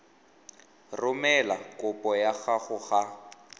romela kopo ya gago ga